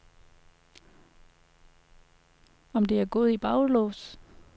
Om det er gået i baglås?